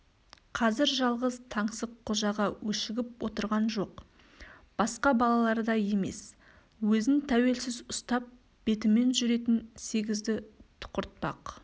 қазір жалғыз таңсыққожаға өшігіп отырған жоқ басқа балалардай емес өзін тәуелсіз ұстап бетімен жүретін сегізді тұқыртпақ